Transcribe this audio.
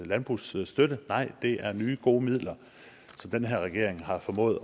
landbrugsstøtte nej det er nye gode midler som den her regering har formået